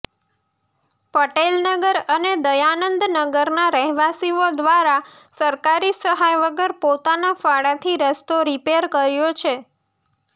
પટેલનગર અને દયાનંદનગરના રહેવાસીઓ દ્વારા સરકારી સહાય વગર પોતાના ફાળાથી રસ્તો રીપેર કર્યો છે